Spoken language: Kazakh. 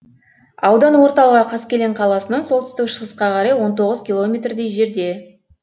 аудан орталығы қаскелең қаласынан солтүстік шығысқа қарай он тоғыз километрдей жерде